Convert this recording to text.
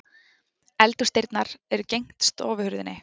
Eldhúsdyrnar eru gegnt stofuhurðinni.